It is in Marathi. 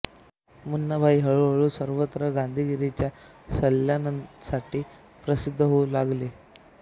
मुन्नाभाई हळू हळू सर्वत्र गांधीगीरीच्या सल्यांसाठी प्रसिद्ध होऊ लागतो